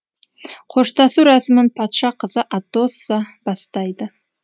қоштасу рәсімін патша қызы атосса бастайды